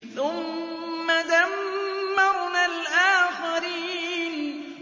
ثُمَّ دَمَّرْنَا الْآخَرِينَ